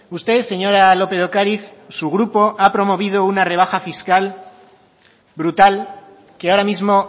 usted señora lópez de ocariz su grupo ha promovido una rebaja fiscal brutal que ahora mismo